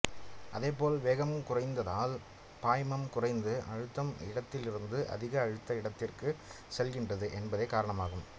அதே போல் வேகம் குறைந்தால் பாய்மம் குறைந்த அழுத்த இடத்திலிருந்து அதிக அழுத்த இடத்திற்கு செல்கின்றது என்பதே காரணமாகும்